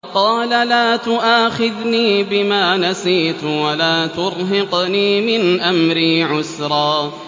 قَالَ لَا تُؤَاخِذْنِي بِمَا نَسِيتُ وَلَا تُرْهِقْنِي مِنْ أَمْرِي عُسْرًا